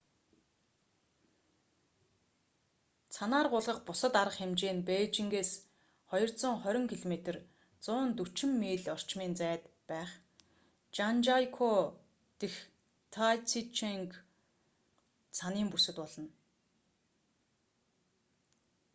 цанаар гулгах бусад арга хэмжээ нь бээжингээс 220 км 140 миль орчмын зайд байх жанжиакоу дэх тайзиченг цанын бүсэд болно